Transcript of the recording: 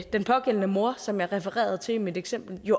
den pågældende mor som jeg refererede til i mit eksempel